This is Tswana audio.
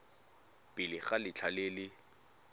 pele ga letlha le le